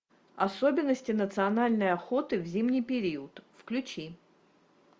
особенности национальной охоты в зимний период включи